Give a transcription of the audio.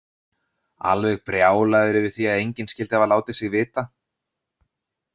Alveg brjálaður yfir því að enginn skyldi hafa látið sig vita!